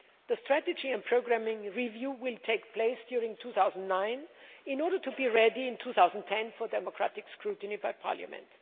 The strategy and programming review will take place during 2009 in order to be ready in 2010 for democratic scrutiny by Parliament.